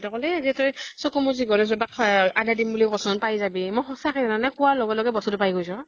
কʼলে যে তই, চকু মুজি গণেশ বাবা ক শৰাই আগাই দিম বুলি কʼ চোন । পাই যাবি, মই সচাঁকে জানানে, কোৱা লগে লগে বস্তু তো পাই গৈছো